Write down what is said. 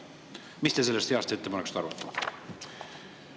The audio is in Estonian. Mis te sellest heast ettepanekust arvate?